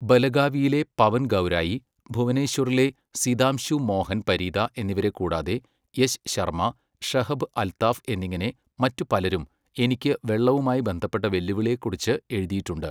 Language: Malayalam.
ബലഗാവിയിലെ പവൻ ഗൗരായി, ഭുവനേശ്വറിലെ സിതാംശു മോഹൻ പരീദാ എന്നിവരെ കൂടാതെ യശ് ശർമ്മ, ഷഹബ് അൽത്താഫ് എന്നിങ്ങനെ മറ്റു പലരും എനിക്ക് വെള്ളവുമായി ബന്ധപ്പെട്ട വെല്ലുവിളിയെക്കുറിച്ച് എഴുതിയിട്ടുണ്ട്.